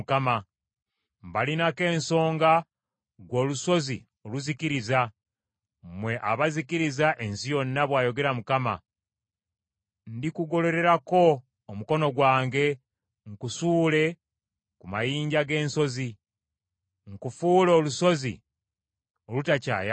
“Mbalinako ensonga, ggwe olusozi oluzikiriza, mmwe abazikiriza ensi yonna,” bw’ayogera Mukama . “Ndikugolererako omukono gwange, nkusuule ku mayinja g’ensozi, nkufuule olusozi olutakyayaka.